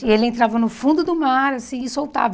E ele entrava no fundo do mar assim e soltava.